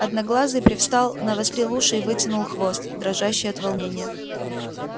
одноглазый привстал навострил уши и вытянул хвост дрожащий от волнения